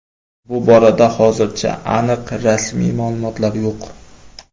Bu borada hozircha aniq rasmiy ma’lumotlar yo‘q.